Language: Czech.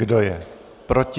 Kdo je proti?